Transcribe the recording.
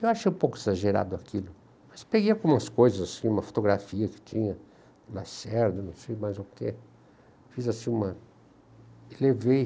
Eu achei um pouco exagerado aquilo, mas peguei algumas coisas, uma fotografia que tinha do Lacerda, não sei mais o quê.